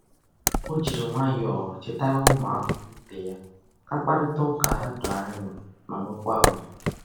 O jiri nwayọọ chetara ụmụakwụkwọ ibe ya ka mkparịtaụka ha doo anya ma nwekwa ùgwù.